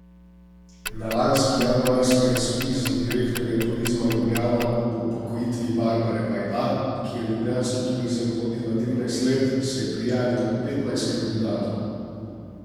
Na lanski januarski razpis za direktorja Turizma Ljubljana ob upokojitvi Barbare Vajda, ki je ljubljanski turizem vodila trinajst let, se je prijavilo petnajst kandidatov.